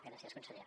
gràcies conseller